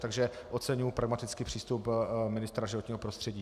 Takže oceňuji pragmatický přístup ministra životního prostředí.